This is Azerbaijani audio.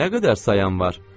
Nə qədər sayan var?